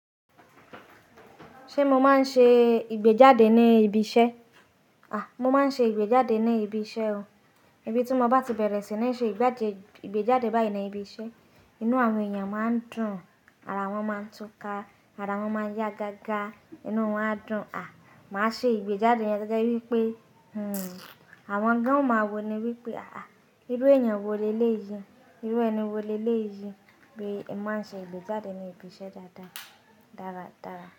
Ṣé mo máa ń ṣe ìgbéjáde ní ibi iṣẹ́? A! Mo máa ń ṣe ìgbéjáde ní ibi iṣẹ́ o. Ibi tí mo bá ti bẹ̀rẹ̀ sí ní ṣe ìgbéjáde báyìí ni ibi iṣẹ́. Inú àwọn èèyàn máa dùn, ara wọn máa ń túká, ara wọn máa ń yá gágá, inú wọn á dùn. A! Màá ṣe ìgbéjáde yen gegebí wípé, hmm àwọn gán o máa wo ni wípé, à á irú èèyàn wo le lé iyì? Irú ẹni wo le lé iyì bí mo ṣe ìgbéjáde ní ibi iṣẹ́ dáadáa dáradára.